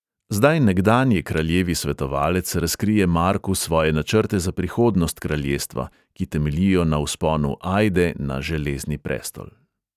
Zdaj nekdanji kraljevi svetovalec razkrije marku svoje načrte za prihodnost kraljestva, ki temeljijo na vzponu ajde na železni prestol.